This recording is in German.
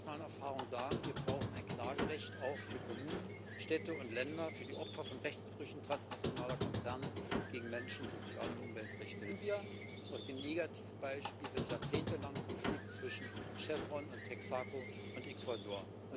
Alle internationalen Erfahrungen sagen Wir brauchen ein Klagerecht auch für Kommunen, Städte und Länder, für die Opfer von Rechtsbrüchen transnationaler Konzerne gegen Menschen, Sozial und Umweltrechte. Lernen wir aus dem Negativbeispiel des jahrzehntelangen Konflikts zwischen Chevron, Texaco und Ecuador.